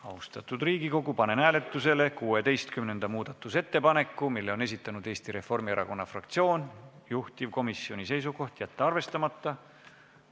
Austatud Riigikogu, panen hääletusele 16. muudatusettepaneku, mille on esitanud Eesti Reformierakonna fraktsioon, juhtivkomisjoni seisukoht: jätta arvestamata.